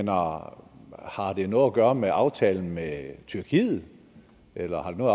har det noget at gøre med aftalen med tyrkiet eller har det noget